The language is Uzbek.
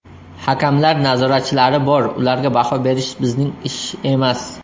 Hakamlar nazoratchilari bor, ularga baho berish bizning ish emas.